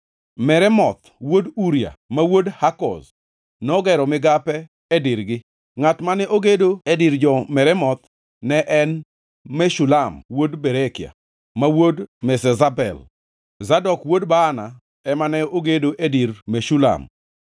Meremoth wuod Uria, ma wuod Hakoz nogero migape e dirgi. Ngʼat mane ogedo e dir jo-Meremoth ne en Meshulam wuod Berekia, ma wuod Meshezabel. Zadok wuod Baana ema ne ogedo e dir Meshulam,